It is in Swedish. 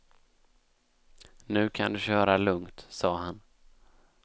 Nu kan du köra lungt, sa han.